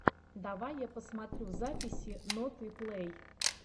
давай я посмотрю записи ноты плей